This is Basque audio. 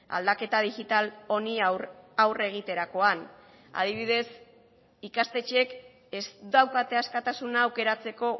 aldaketa digital honi aurre egiterakoan adibidez ikastetxeek ez daukate askatasuna aukeratzeko